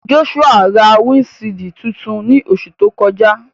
Joshua ra windṣiidi tuntun ni oṣu to kọja.